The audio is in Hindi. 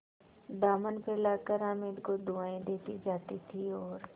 दामन फैलाकर हामिद को दुआएँ देती जाती थी और